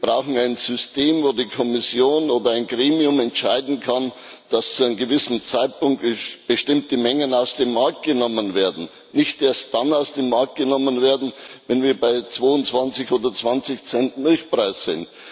Wir brauchen ein System, bei dem die Kommission oder ein Gremium entscheiden kann, dass zu einem gewissen Zeitpunkt bestimmte Mengen aus dem Markt genommen werden nicht erst dann aus dem Markt genommen werden, wenn wir bei 22 oder 20 Cent Milchpreis sind.